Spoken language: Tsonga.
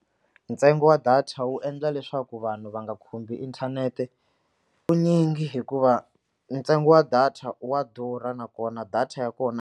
Ntsengo wa data wu endla leswaku vanhu va nga khumbi inthanete hikuva ntsengo wa data wa durha nakona data ya kona.